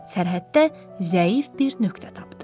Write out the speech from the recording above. Sərhəddə zəif bir nöqtə tapdı.